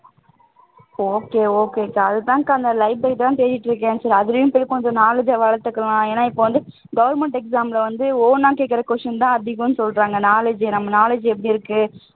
okay okay க்கா அதுதான்க்கா அந்த library தான் தேடிட்டு இருக்கேன் சரி அதுலயும் கொஞ்சம் knowledge ஐ வளர்த்துக்கலாம் ஏன்னா இப்போ வந்து government exam ல வந்து own ஆ கேக்கிற question தான் ரொம்ப அதிகம்ன்னு சொல்றாங்க knowledgeஏ knowledge எப்படி இருக்கு